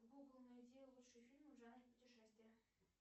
гугл найди лучшие фильмы в жанре путешествия